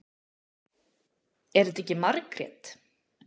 Er þetta ekki Margrét?